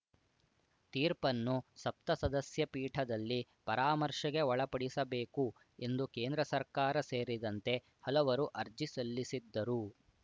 ತೀರ್ಪನ್ನು ಸಪ್ತಸದಸ್ಯ ಪೀಠದಲ್ಲಿ ಪರಾಮರ್ಶೆಗೆ ಒಳಪಡಿಸಬೇಕು ಎಂದು ಕೇಂದ್ರ ಸರ್ಕಾರ ಸೇರಿದಂತೆ ಹಲವರು ಅರ್ಜಿ ಸಲ್ಲಿಸಿದ್ದರು